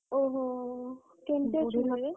ଓହୋ କେମତି ଅଛନ୍ତି ଏବେ?